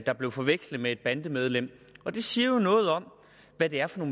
der blev forvekslet med et bandemedlem og det siger jo noget om hvad det er for